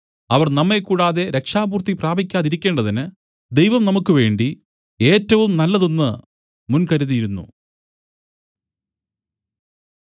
അവർ നമ്മെ കൂടാതെ രക്ഷാപൂർത്തി പ്രാപിക്കാതിരിക്കേണ്ടതിന് ദൈവം നമുക്കുവേണ്ടി ഏറ്റവും നല്ലതൊന്നു മുൻകരുതിയിരുന്നു